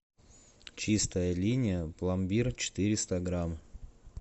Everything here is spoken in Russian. чистая линия пломбир четыреста грамм